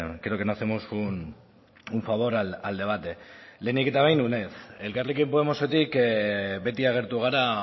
creo que no hacemos un favor al debate lehenik eta behin uned elkarrekin podemosetik beti agertu gara